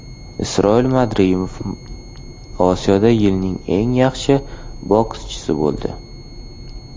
Isroil Madrimov Osiyoda yilning eng yaxshi bokschisi bo‘ldi.